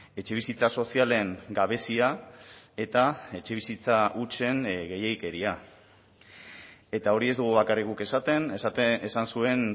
etxebizitza sozialen gabezia eta etxebizitza hutsen gehiegikeria eta hori ez dugu bakarrik guk esaten esan zuen